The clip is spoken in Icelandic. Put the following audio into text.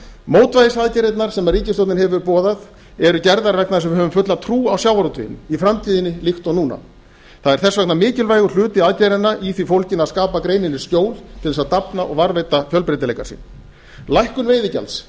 mótvægisaðgerðirnar sem ríkisstjórnin hefur boðað eru gerðar vegna þess að við höfum fulla trú á sjávarútveginum í framtíðinni líkt og núna það er þess vegna mikilvægur hluti aðgerðanna í því fólginn að skapa greininni skjól til þess að dafna og varðveita fjölbreytileika sinn lækkun veiðigjalds